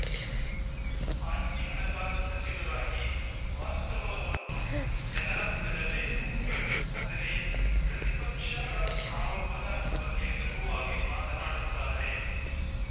ಮಾಜಿ ಹಣಕಾಸು ಸಚಿವರಾಗಿ ವಾಸ್ತವವನ್ನು ಜನರ ಮುಂದಿಡಬೇಕು ಆದರೆ ಪ್ರತಿಪಕ್ಷ ಆರೋಪದ ಬಗ್ಗೆ ಲಘುವಾಗಿ ಮಾತನಾಡುತ್ತಾರೆ